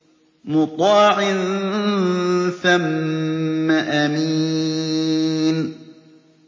مُّطَاعٍ ثَمَّ أَمِينٍ